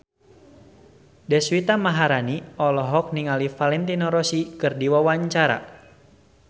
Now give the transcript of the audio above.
Deswita Maharani olohok ningali Valentino Rossi keur diwawancara